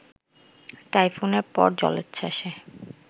টাইফুনের পর জলোচ্ছ্বাসে